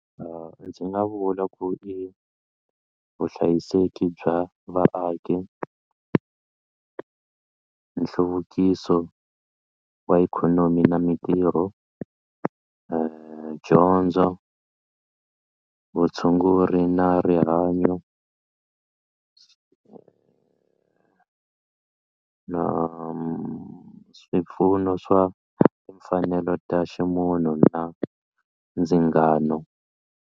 Ndzi nga vula ku i vuhlayiseki bya vaaki nhluvukiso wa ikhonomi na mintirho dyondzo vutshunguri na rihanyo na swipfuno swa timfanelo ta ximunhu na ndzingano.